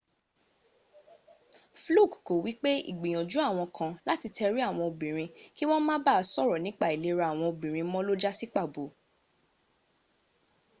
fluke ko wipe igbiyanju awon kan lati teri awon obinrin ki won ma ba soro nipa ailera awon obinrin mo lo jasi pabo